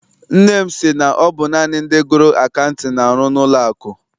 Nne m sị na ọ bụ naanị ndị gụrụ akaụtin ga arụ n'ụlọ akụ.